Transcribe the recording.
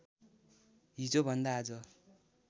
हिजोभन्दा आज